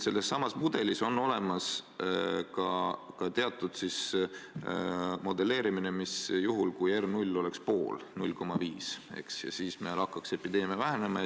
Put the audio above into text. Sellessamas mudelis on olemas ka teatud modelleerimine, mis juhul R0 oleks 0,5 ja meil hakkaks epideemia vähenema.